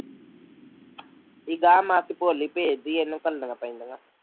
ਜਿਵੇਂ ਆਹ ਮਾਸੀ ਭੋਲੀ ਬੇਜਦੀ ਐ ਐਵੇ ਭੇਜਣੀਆਂ ਪੈਂਦੀਆਂ